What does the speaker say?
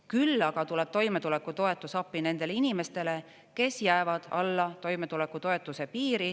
Küll aga tuleb toimetulekutoetus appi nendele inimestele, kes jäävad alla toimetulekutoetuse piiri.